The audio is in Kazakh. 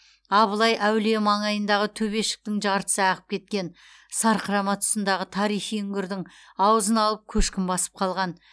абылай әулие маңайындағы төбешіктің жартысы ағып кеткен сарқырама тұсындағы тарихи үңгірдің аузын алып көшкін басып қалған